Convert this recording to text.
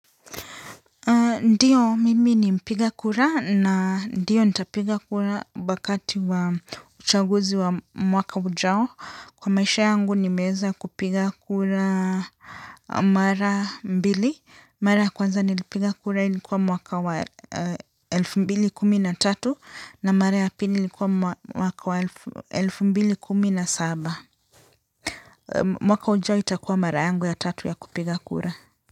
Ndiyo, mimi ni mpiga kura na ndiyo nitapiga kura wakati wa uchaguzi wa mwaka ujao. Kwa maisha yangu nimeweza kupiga kura mara mbili. Mara ya kwanza nilipiga kura ilikuwa mwaka wa elfu mbili kumi na tatu na mara ya pili ilikuwa mwaka wa elfu mbili kumina saba. Mwaka ujao itakuwa mara yangu ya tatu ya kupiga kura.